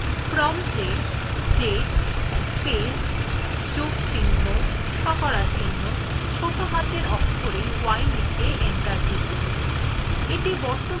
prompt এ date space যোগ চিহ্ন শতকরা চিহ্ন ছোটো হাতের অক্ষরে y লিখে enter টিপুন